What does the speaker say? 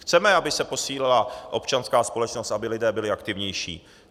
Chceme, aby se posílila občanská společnost, aby lidé byli aktivnější.